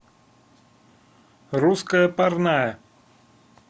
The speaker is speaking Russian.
русская парная